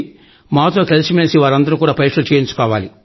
మాతో కలిసి మెలిసి ఉన్న వారందరూ కూడా పరీక్షలు చేయించుకోవాలి